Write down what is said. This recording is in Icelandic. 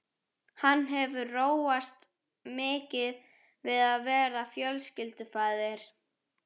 Hefur hann róast mikið við að verða fjölskyldufaðir?